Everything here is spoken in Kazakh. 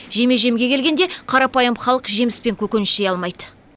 жеме жемге келгенде қарапайым халық жеміс пен көкөніс жей алмайды